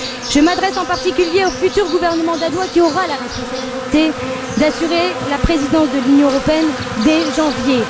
Je m'adresse, en particulier, au futur gouvernement danois, qui aura la responsabilité d'assurer la présidence de l'Union européenne dès janvier.